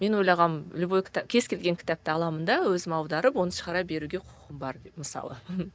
мен ойлағанмын любой кез келген кітапты аламын да өзім аударып оны шығара беруге құқым бар деп мысалы